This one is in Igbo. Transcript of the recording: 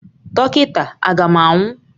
Dọkịta, A ga m anwụ?